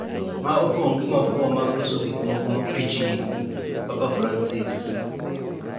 ma opong’ gi mafua mag loso gik moko mapichni, Papa Fransis,